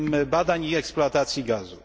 badań i eksploatacji gazu?